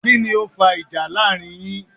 Kíni o fa ìjà láàrin yin?